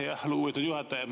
Aitäh, lugupeetud juhataja!